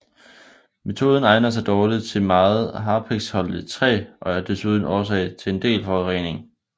Metoden egner sig dårligt til meget harpiksholdigt træ og er desuden årsag til en del forurening